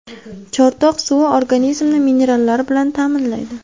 Chortoq suvi organizmni minerallar bilan ta’minlaydi.